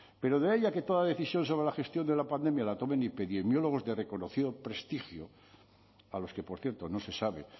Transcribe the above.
pero de ahí a que toda decisión sobre la gestión de la pandemia la tomen epidemiólogos de reconocido prestigio a los que por cierto no se sabe